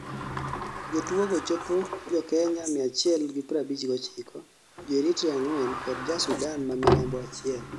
jotuo go chopo jo kenya 159, jo Eritrea 4 kod ja Sudan ma Milambo Achiel